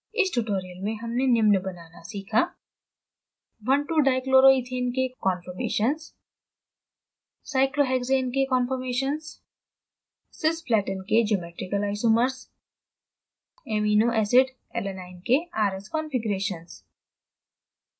इस tutorial में हमने निम्न बनाना सीखा: